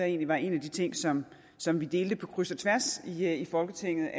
egentlig var en af de ting som som vi delte på kryds og tværs i folketinget